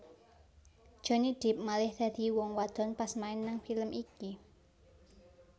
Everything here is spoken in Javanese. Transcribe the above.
Johnny Depp malih dadi wong wadon pas main nang film iki